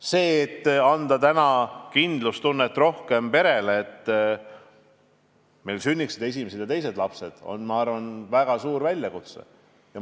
See, et anda rohkem kindlustunnet perele, et meil sünniksid esimesed ja teised lapsed, on, ma arvan, väga suur väljakutse.